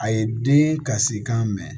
A ye den kasikan mɛn